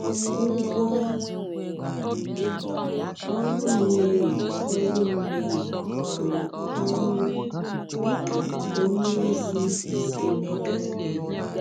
“Ụgwọ ọrụ mmehie ọrụ mmehie bụ ọnwụ,” dika onye ozi Emeka dere.